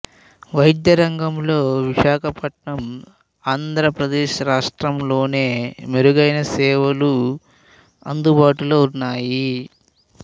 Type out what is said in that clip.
వైద్య రంగంలో విశాఖ పట్నం ఆంధ్ర ప్రదేశ్ రాష్ట్రం లోనే మెరుగైన సేవలు అందుబాటులో ఉన్నాయి